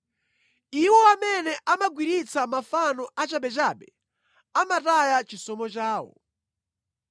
“Iwo amene amagwiritsitsa mafano achabechabe amataya chisomo chawo.